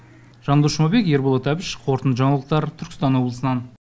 жандос жұмабек ерболат әбіш қорытынды жаңалықтар түркістан облысынан